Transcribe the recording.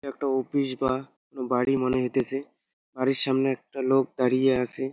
একটো অফিস বা বাড়ি মনে হইতেছে। বাড়ির সামনে একটা লোক দাঁড়িয়ে আসে।